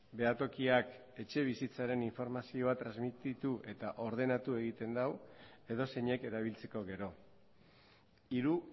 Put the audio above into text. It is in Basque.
behatokiak etxebizitzaren informazioa transmititu eta ordenatu egiten du edozeinek erabiltzeko gero hiru